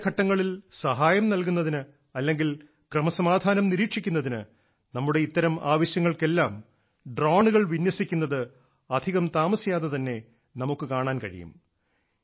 അടിയന്തരഘട്ടങ്ങളിൽ സഹായം നൽകുന്നതിന് അല്ലെങ്കിൽ ക്രമസമാധാനം നിരീക്ഷിക്കുന്നതിന് നമ്മുടെ ഇത്തരം ആവശ്യങ്ങൾക്കെല്ലാം ഡ്രോണുകൾ വിന്യസിക്കുന്നത് അധികം താമസിയാതെ തന്നെ നമുക്ക് കാണാൻ കഴിയും